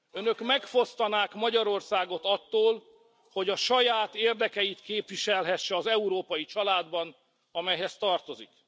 Önök megfosztanák Magyarországot attól, hogy a saját érdekeit képviselhesse az európai családban, amelyhez tartozik.